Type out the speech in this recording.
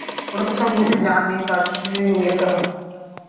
ওরা তো সবকিছু জানেই তারজন্যেই বিয়েটা হচ্চে